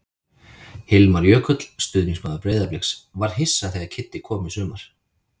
Hilmar Jökull, stuðningsmaður Breiðabliks: Var hissa þegar Kiddi kom í sumar.